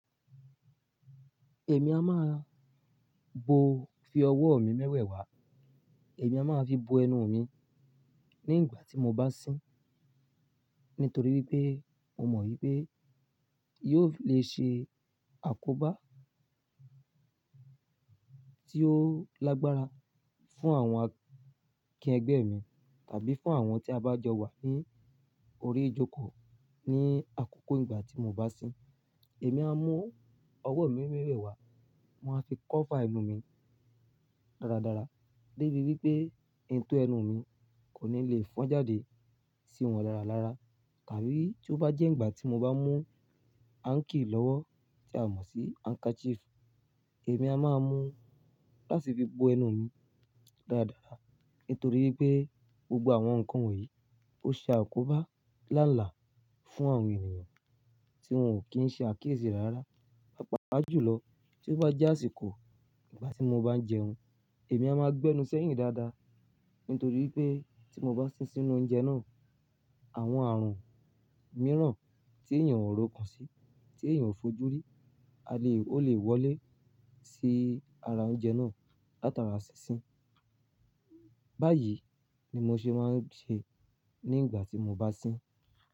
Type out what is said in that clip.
Èmi a máa bo fi ọwọ́ mi mẹ́wẹ̀ wá, èmi a máa fi bo ẹnu mi ní ìgbà tí mo bá sín, nítorí wípé mo mọ̀ wípé yóò le ṣe àkóbá tí ó lágbára fún àwọn akẹgbẹ́ mi tàbí fún àwọn tí a bá jọ wà ní orí ìjókòó ní àkókò ìgbà tí mo bá sín. Èmi a mú ọwọ́ mi mẹ́wẹ̀ wá, màá fi cover ẹnu mi dáradára débi wípé ètò ẹnu mi kò ní lè fọ́n jáde sí wọn láralára. Tàbí tí ó bá jẹ́ ìgbà tí mo bá mú anki lọ́wọ́ tí a mọ̀ sí handkerchief, èmi a máa mú láti fi bo ẹnu mi dáradára. Nítorí pé gbogbo àwọn nǹkan wọ̀nyí ó ṣe àkóbá lálàá fún àwọn ènìyàn tí wọ́n ò kí ń ṣe àkíyèsí rára. Pápá jú lọ tí ó bá je ásíkò ìgbà tí mo bá ń jẹun, èmi a máa gbẹnu sẹ́yìn dáadáa. Nítorí pé tí mo bá sín sínú oúnjẹ náà, àwọn àrùn mìíràn tí èyàn ò rókàn sí, tí èyàn ò fojú rí, a le, ó lè wọlé sí ara oúnjẹ náà látara sísín. Báyìí ni mo ṣe máa ń ṣe ní ìgbà tí mo bá sín.